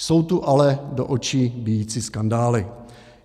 Jsou tu ale do očí bijící skandály.